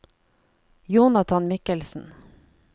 Jonathan Mikkelsen